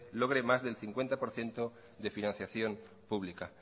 logre más del cincuenta por ciento de financiación pública